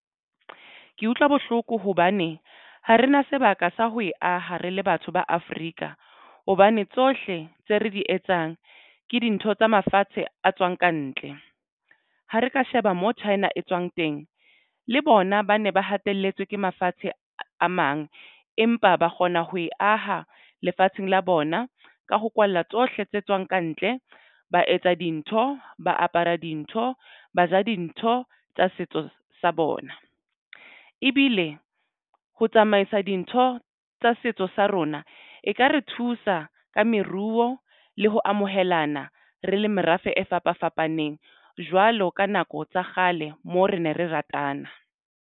Ke utlwa bohloko hobane ha re na sebaka sa ho e ah, re le batho ba Afrika hobane tsohle tse re di etsang ke dintho tsa mafatshe a tswang ka ntle ha re ka sheba mo China e tswang teng le bona ba ne ba hatelletswe ke mafatshe a mang, empa ba kgona ho e aha lefatsheng la bona ka ho kwalla tsohle tse tswang kantle. Ba etsa dintho, ba apara dintho, ba ja dintho tsa setso sa bona ebile ho tsamaisa dintho tsa setso sa rona. E ka re thusa ka meruo le ho amohelana re le merafe e fapafapaneng jwalo ka nako tsa kgale moo re ne re ratana.